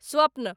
स्वप्न